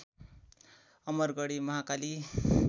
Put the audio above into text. Amargadhi Mahakali